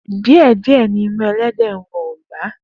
Die die ni imu elede nwọ ogba.